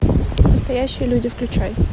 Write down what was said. настоящие люди включай